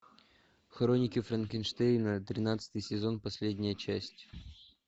хроники франкенштейна тринадцатый сезон последняя часть